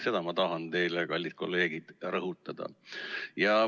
Seda ma tahan teile, kallid kolleegid, rõhutada.